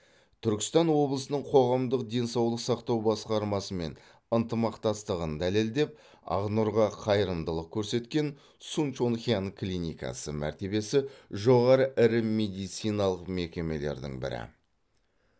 түркістан облысының қоғамдық денсаулық сақтау басқармасымен ынтымақтастығын дәлелдеп ақнұрға қайырымдылық көрсеткен сунчонхян клиникасы мәртебесі жоғары ірі медициналық мекемелердің бірі